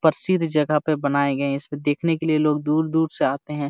प्रसिद्ध जगह पे बनाये गए है इसको देखने के लिए लोग दूर-दूर से आते है।